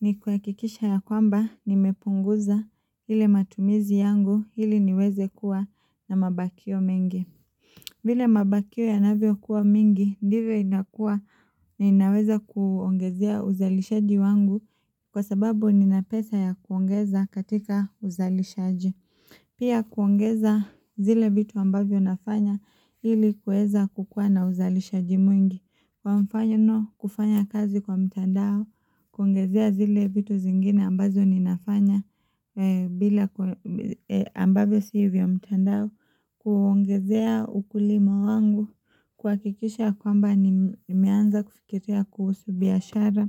ni kuakikisha ya kwamba ni mepunguza hile matumizi yangu hili niweze kuwa na mabakio mengi. Vile mabakio ya navyo kuwa mingi ndivyo inakuwa na inaweza kuongezea uzalishaji wangu kwa sababu ninapesa ya kuongeza katika uzalishaji. Pia kuongeza zile vitu ambavyo nafanya hili kuweza kukuwa na uzalishaji mwingi. Kwa mfanyono kufanya kazi kwa mtandao, kuongezea zile vitu zingine ambazo ni nafanya bila ambavyo siivyo mtandao, kuongezea ukulimo wangu, kuakikisha kwamba nimeanza kufikiria kuhusu biashara,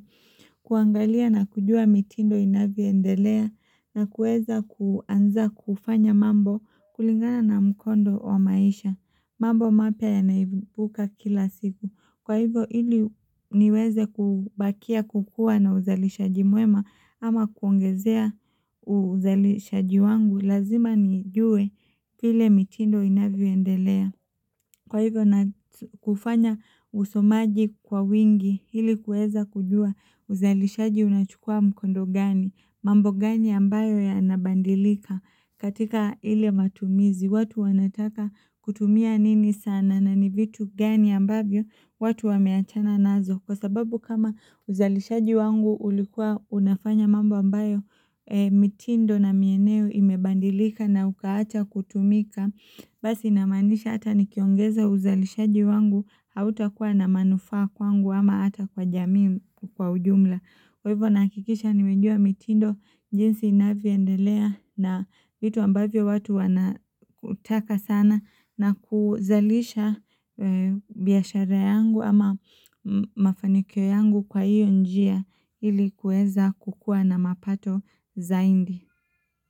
kuangalia na kujua mitindo inavyoendelea, na kueza kuanza kufanya mambo kulingana na mkondo wa maisha. Mambo mapya yanaibuka kila siku. Kwa hivo hili niweze kubakia kukua na uzalishaji mwema ama kuongezea uzalishaji wangu lazima ni jue vile mitindo inavyo endelea. Kwa hivyo na kufanya usomaji kwa wingi hili kueza kujua uzalishaji unachukua mkondo gani, mambo gani ambayo yanabandilika katika hile matumizi watu wanataka kutumia nini sana na ni vitu gani ambavyo watu wameachana nazo. Kwa sababu kama uzalishaji wangu ulikuwa unafanya mambo ambayo mitindo na mieneo imebandilika na ukaacha kutumika Basi inamanisha hata nikiongeza uzalishaji wangu hauta kuwa na manufaa kwangu ama hata kwa jamii kwa ujumla Kwa hivyo nahakikisha nimejua mitindo jinsi inavyo endelea na vitu ambavyo watu wanakutaka sana na kuzalisha biashara yangu ama mafanikio yangu kwa hiyo njia ilikuweza kukua na mapato zaindi.